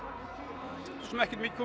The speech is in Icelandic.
svosem ekki mikið